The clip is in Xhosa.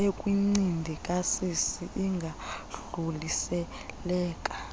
ekwincindi kasisi ingadluliseleka